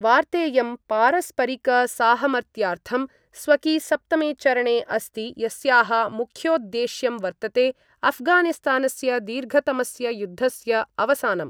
वार्तेयं पारस्परिकसाहमत्यार्थं स्वकी सप्तमे चरणे अस्ति यस्याः मुख्योद्देश्यं वर्तते अफ़गानिस्तानस्य दीर्घतमस्य युद्धस्य अवसानम्।